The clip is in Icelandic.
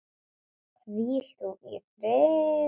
Hvíl þú í friði, vinur.